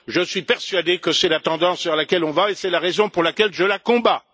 Je suis persuadé que c'est la tendance vers laquelle on va, et c'est la raison pour laquelle je la combats.